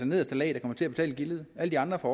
nederste lag der kommer til at betale gildet alle andre får